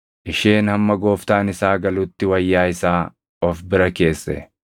Isheen hamma gooftaan isaa galutti wayyaa isaa of bira keesse.